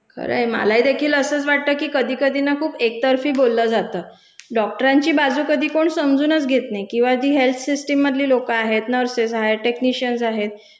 खरय. मलाहीदेखील असंच वाटतं की कधी कधी ना खूप एकतर्फी बोलल्या जातं, डॉक्टरांची बाजू कधी कोण समजूनच घेत नाही किंवा जी हेल्थ सिस्टीममधली लोकं आहेत, नर्सेस आहेत, टेकनिशियन्स आहेत,